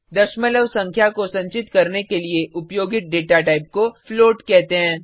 दशमलव संख्या को संचित करने के लिए उपयोगित डेटा टाइप को फ्लोट कहते हैं